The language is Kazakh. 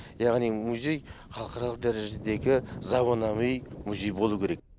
яғни музей халықаралық дәрежедегі заманауи музей болу керек